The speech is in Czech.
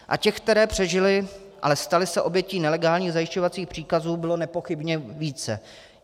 A těch, které přežily, ale staly se obětí nelegálních zajišťovacích příkazů, bylo nepochybně více.